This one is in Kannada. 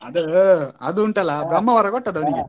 ಅದು ಅದು ಉಂಟಲ್ಲಾ ವರ ಕೊಟ್ಟದ್ದು .